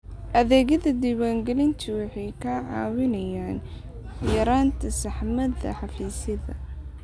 Adeegyada diwaangelintu waxay kaa caawinayaan yaraynta saxmadda xafiisyada.